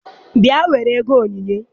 Bia were ego onyinyé.